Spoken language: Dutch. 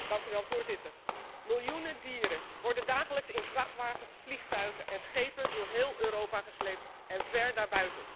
Voorzitter, miljoenen dieren worden dagelijks in vrachtwagens, vliegtuigen en schepen door heel Europa gesleept, en ver daarbuiten.